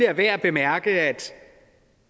er værd at bemærke at